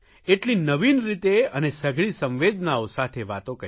એટલી નવીન રીતે અને સઘળી સંવેદનાઓ સાથે વાતો કહી